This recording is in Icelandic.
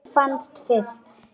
Hún fannst fyrst.